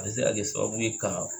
A bɛ se ka kɛ sababu ye ka